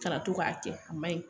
Ka na to k'a kɛ a ma ɲi